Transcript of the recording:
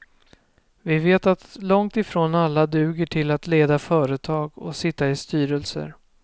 Vi vet att långt ifrån alla duger till att leda företag och sitta i styrelser.